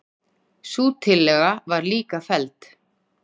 Sú tillaga var líka felld.